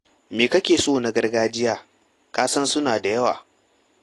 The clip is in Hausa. Me kake so a na gargajiyar? Ka san suna da yawa.